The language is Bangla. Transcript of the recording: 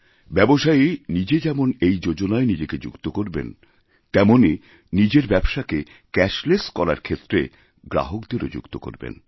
ব্যবসায়ী নিজে যেমন এই যোজনায় নিজেকে যুক্ত করবেন তেমনই নিজেরব্যবসাকে ক্যাশলেস করার ক্ষেত্রে গ্রাহকদেরও যুক্ত করবেন